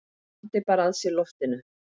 Andi bara að sér loftinu.